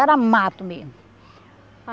Era mato mesmo.